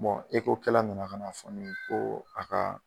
Bɔn eko kɛlɛ nana'sɔrɔ ko a ka